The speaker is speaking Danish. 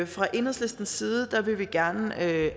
fra enhedslistens side vil vi gerne